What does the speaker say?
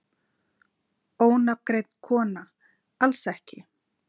Ónafngreind kona: Alls ekki?